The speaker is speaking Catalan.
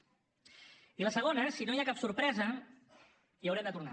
i la segona si no hi ha cap sorpresa hi haurem de tornar